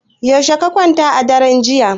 Yaushe ka kwanta a daren jiya?